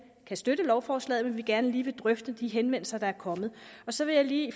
kan støtte lovforslaget men gerne lige vil drøfte de henvendelser der er kommet så vil jeg lige i